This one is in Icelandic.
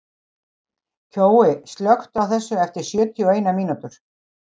Kjói, slökktu á þessu eftir sjötíu og eina mínútur.